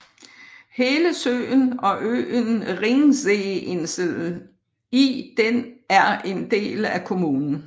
Hele søen og øen Ringseeinsel i den er en del af kommunen